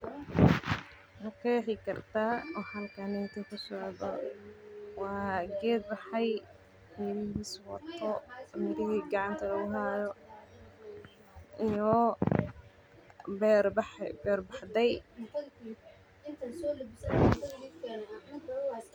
Ma qeexi kartaa waxa halkan kasocdo waa geed baxay oo mirahiisa gacanta lagu haayo.